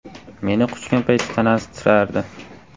Meni quchgan payti tanasi titrardi.